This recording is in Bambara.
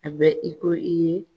A bɛ i ko i ye